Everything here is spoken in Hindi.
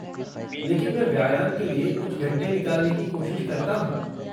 लेकिन मैं व्यायाम के लिए कुछ घंटे निकालने की कोशिश करता हूँ।